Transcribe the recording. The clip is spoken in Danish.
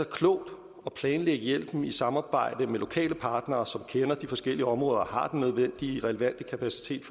klogt at planlægge hjælpen i samarbejde med lokale partnere som kender de forskellige områder og har den nødvendige og relevante kapacitet